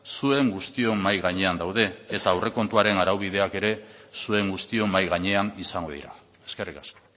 zuen guztion mahai gainean daude eta aurrekontuaren araubideak ere zuen guztion mahai gainean izango dira eskerrik asko